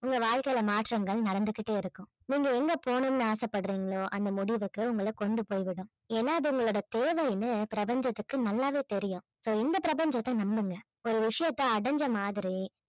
உங்க வாழ்க்கையில மாற்றங்கள் நடந்துகிட்டே இருக்கும் நீங்க எங்க போகணும்னு ஆசைப்படுறீங்களோ அந்த முடிவுக்கு உங்களை கொண்டு போய் விடும் ஏன்னா அது உங்களுடைய தேவைனு பிரபஞ்சத்திற்கு நல்லாவே தெரியும் so இந்த பிரபஞ்சத்தை நம்புங்க ஒரு விஷயத்தை அடைஞ்ச மாதிரி